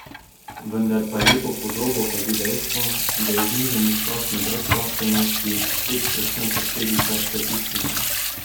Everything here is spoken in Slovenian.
Vendar pa lepo podobo kazi dejstvo, da je znižanje stopnje brezposelnosti spet predvsem posledica statistike.